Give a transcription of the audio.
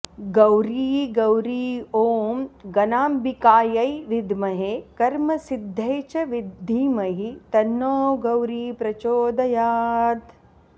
गौरी गौरी ॐ गणाम्बिकायै विद्महे कर्मसिद्ध्यै च धीमहि तन्नो गौरी प्रचोदयात्